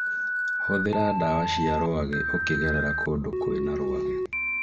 Hũthĩra dawa cia rwagĩ ukĩgerera kũndũ kwĩna rwagĩ